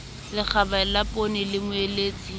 lekgaba la poone le omeletse